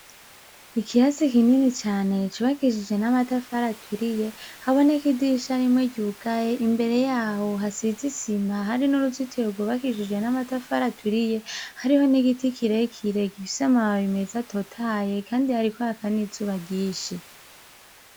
Ikirasi kinini cane cubakishijwe n 'amatafari aturiye imbere yaho hasize isima, hari n'uzitiro rwubakishije n' amatafari aturiye ,hariho n'igiti kirekire gifise amababi meza atotahaye, kandi hariko haka n'izuba ryinshi.